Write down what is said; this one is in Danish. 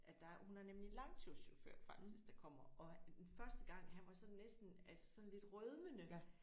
At der hun har nemlig langturschauffør faktisk der kommer og første gang han var sådan næsten altså sådan lidt rødmende